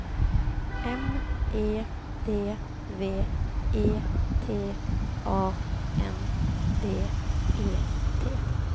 M E D V E T A N D E T